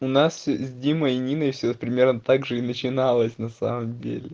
у нас с димой и ниной всё примерно так же и начиналось на самом деле